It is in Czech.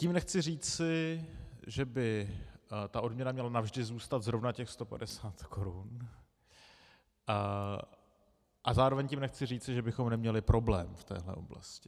Tím nechci říci, že by ta odměna měla navždy zůstat zrovna těch 150 korun, a zároveň tím nechci říci, že bychom neměli problém v této oblasti.